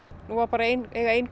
nú eiga bara ein ein